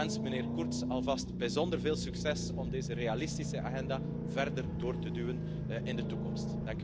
Ik wens meneer Kurz alvast bijzonder veel succes om deze realistische agenda verder door te duwen in de toekomst.